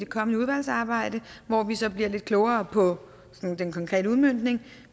kommende udvalgsarbejde hvor vi så bliver lidt klogere på den konkrete udmøntning